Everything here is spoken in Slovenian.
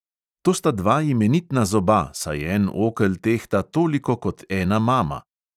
To sta dva imenitna zoba, saj en okel tehta toliko kot ena mama!